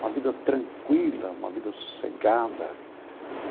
Uma vida tranquila, uma vida sossegada.